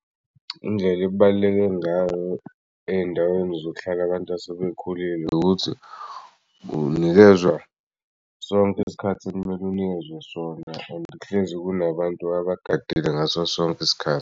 Indlela ekubaluleke ngayo ey'ndaweni zokuhlala abantu asebekhulile ukuthi unikezwa sonk'isikhathi ekumele unikezwe sona and kuhlezi kunabantu abagadile ngaso sonk'isikhathi.